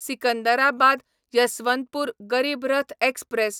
Secunderabad Yesvantpur Garib Rath express